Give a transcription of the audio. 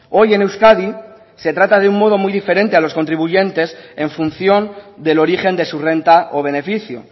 hoy en euskadi se trata de un modo muy diferente a los contribuyentes en función del origen de su renta o beneficio